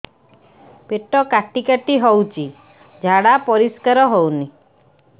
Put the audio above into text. ପେଟ କାଟି କାଟି ହଉଚି ଝାଡା ପରିସ୍କାର ହଉନି